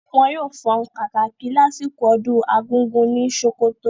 Wọn yóò fọn kàkàkí lásìkò ọdún argugu ní sókótó.